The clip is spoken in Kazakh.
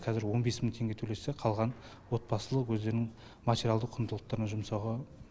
қазір он бес мың теңге төлесе қалғанын отбасылық өздерінің материалдық құндылықтарын жұмсауға